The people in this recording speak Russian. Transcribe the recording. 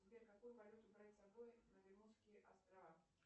сбер какую валюту брать с собой на бермудские острова